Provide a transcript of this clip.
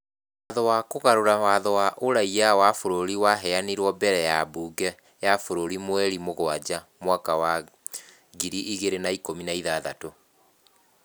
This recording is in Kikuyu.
Watho wa kũgarũra watho wa ũraiya wa bũrũri waheanirwo mbere ya mbunge ya bũrũri mweri wa mũgwanja mwaka wa 2016.